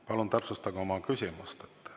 Palun täpsustage oma küsimust.